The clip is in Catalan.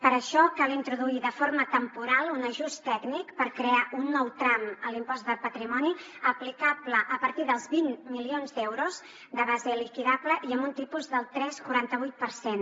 per això cal introduir de forma temporal un ajust tècnic per crear un nou tram en l’impost de patrimoni aplicable a partir dels vint milions d’euros de base liquidable i amb un tipus del tres coma quaranta vuit per cent